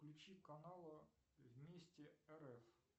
включи канал вместе рф